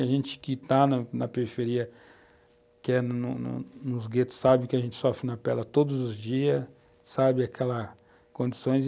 A gente que está na periferia, que é nos nos guetos, sabe que a gente sofre na pele a todos os dias, sabe aquelas condições.